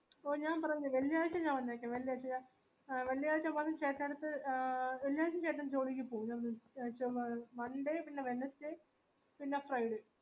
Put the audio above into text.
ഓ ഞാൻ പറഞ്ഞില്ല വെള്ളിയഴ്ച്ച ഞാൻ വന്നാകെ വെള്ളിയാഴ്ച ആ വെള്ളിയാഴ്ച വന്ന ചേട്ടായിയെടത് ആ വിളിയാഴ്ച ജോലിക്കു പൗല ഞാൻ നിർ monday പിന്നെ wednesday പിന്നെ friday